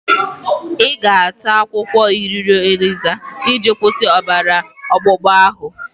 Ị ga-ata akwụkwọ iroro eliza iji kwụsị ọbara ọgbụgba ahụ?